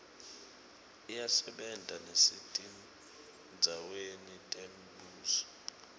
iyasebenta nesetindzaweni temibuso